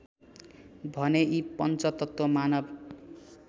भने यी पञ्चतत्त्व मानव